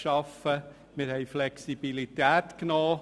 Gegenüber heute haben wir Flexibilität weggenommen.